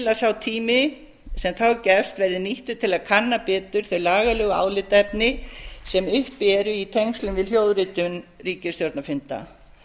að sá tími sem þá gefst verði nýttur til að kanna betur þau lagalegu álitaefni sem uppi eru í tengslum við hljóðritun ríkisstjórnarfunda